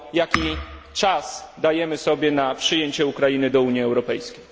Jaki czas dajemy sobie na przyjęcie Ukrainy do Unii Europejskiej?